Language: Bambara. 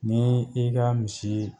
Ni i ka misi